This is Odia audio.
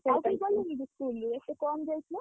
ଆଉ କେହି ଗଲେନିକି school ରୁ ଏତେ କମ୍‌ ଯାଇଥିଲେ?